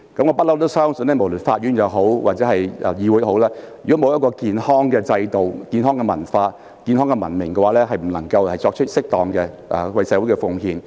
我一直相信無論是法院或議會，如沒有健康的制度、文化和文明規範，便不能為社會作出適當的貢獻。